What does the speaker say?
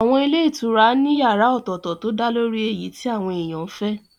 Àwọn ilé ìtura ní yàrá ọ̀tọ̀tọ̀ tó dálórí èyí tí àwọn èèyàn fẹ́